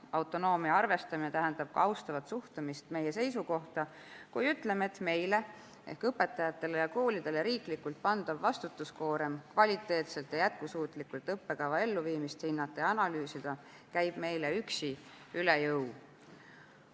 Autonoomia arvestamine tähendab ka austavat suhtumist meie seisukohta, kui ütleme, et meile, ehk õpetajatele ja koolidele riiklikult pandav vastutuskoorem kvaliteetselt ja jätkusuutlikult õppekava elluviimist hinnata ja analüüsida, käib meile üksi üle jõu.